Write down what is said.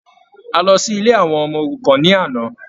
A lọ sí ilé àwọn ọmọ-òrukan ní àná.